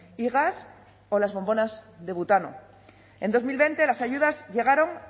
y gas o las bombonas de butano en dos mil veinte las ayudas llegaron